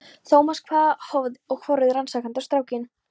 Thomas hváði og horfði rannsakandi á strákinn.